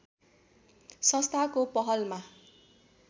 संस्थाको पहलमा